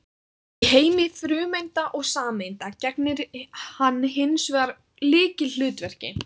Í heimi frumeinda og sameinda gegnir hann hins vegar lykilhlutverki.